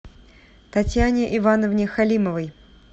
татьяне ивановне халимовой